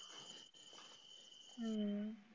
हम्म